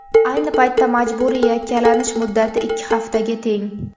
Ayni paytda majburiy yakkalanish muddati ikki haftaga teng.